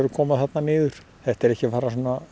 koma þarna niður þetta er ekki að fara